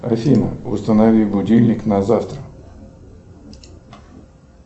афина установи будильник на завтра